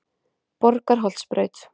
Borgarholtsbraut